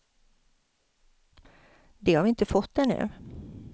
Det har vi inte fått ännu.